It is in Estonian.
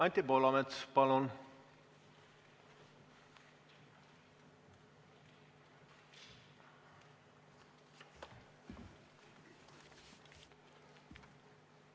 Anti Poolamets, palun!